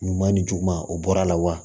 Ɲuman ni juguman o bɔra a la wa